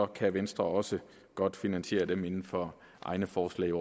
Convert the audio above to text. kan venstre også godt finansiere dem inden for egne forslag